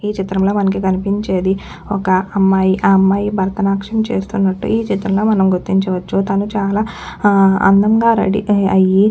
ఈ చిత్రం లో మనకి కనిపించేది ఒక్క అమ్మాయిఆ అమ్మాయి భరతనాట్యం చేస్తున్నట్లు ఈ చిత్రం లో మనం గుర్తించవచ్చుతను చాలా ఆ అందంగా రెడీ అయ్యి.